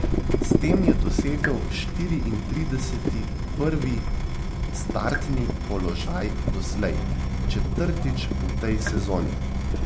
S tem je dosegel štiriintrideseti prvi startni položaj doslej, četrtič v tej sezoni.